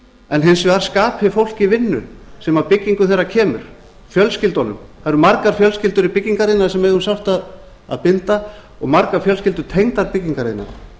en hins vegar skapi fólki vinnu sem að byggingu þeirra kemur fjölskyldunum það eru margar fjölskyldur í byggingariðnaði sem eiga um sárt að binda og margar fjölskyldur tengdar byggingariðnaði